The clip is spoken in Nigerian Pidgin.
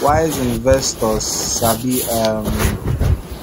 wise investors sabi um